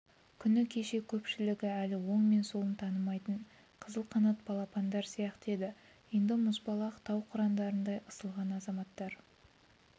күні кеше көпшілігі әлі оң мен солын танымайтын қызылқанат балапандар сияқты еді енді мұзбалақ тау қырандарындай ысылған азаматтар